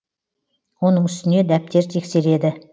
оның үстіне дәптер тексереді